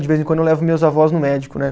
De vez em quando eu levo meus avós no médico, né?